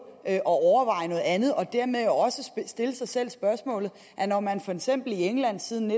at overveje noget andet og dermed også stille sig selv nogle spørgsmål når man for eksempel i england siden